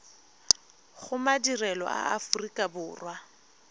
go madirelo a aforika borwa